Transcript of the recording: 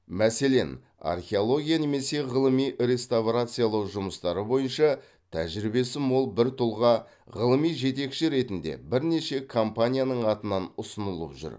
мәселен археология немесе ғылыми реставрациялау жұмыстары бойынша тәжірибесі мол бір тұлға ғылыми жетекші ретінде бірнеше компанияның атынан ұсынылып жүр